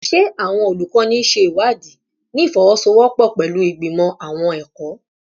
Ṣe awọn olukọni ṣe iwadii ni ifowosowopo pẹlu Igbimọ Awọn ẹkọ?